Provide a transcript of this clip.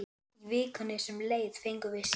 Í vikunni sem leið fengum við síma.